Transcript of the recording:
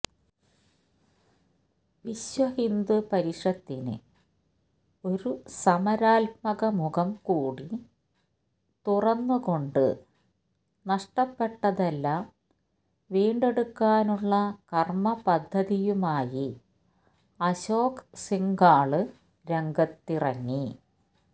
വിശ്വഹിന്ദു പരിഷത്തിന് ഒരു സമരാത്മക മുഖം കൂടി തുറന്നുകൊണ്ട് നഷ്ടപ്പെട്ടതെല്ലാം വീണ്ടെടുക്കാനുള്ള കര്മ പദ്ധതിയുമായി അശോക് സിംഗാള് രംഗത്തിറങ്ങി